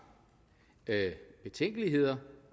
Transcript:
betænkeligheder